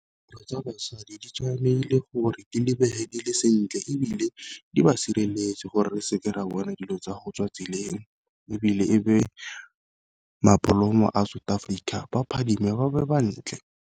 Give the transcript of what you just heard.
tsa basadi di tshwanegile gore Di lebege dile sentle, ebile di ba sireletse gore re seke ra bona dilo tsa go tswa tseleng. Ebile e be mabolomo a South Africa baphadime ba be bantle.